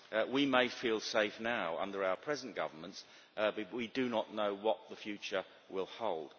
We may feel safe now under our present governments, but we do not know what the future will hold.